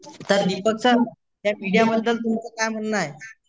तर दीपक सर तर मीडियाबद्दल तुमच काय म्हणणं आहे?